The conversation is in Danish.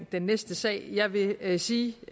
den næste sag jeg vil vil sige